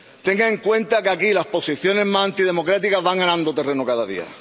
Tenga en cuenta que aquí las posiciones más antidemocráticas van ganando terreno cada día.